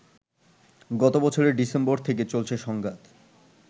গতবছরের December থেকে চলছে সংঘাত